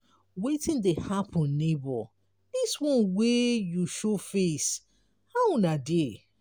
wetin dey happen nebor dis one wey you show face how una dey?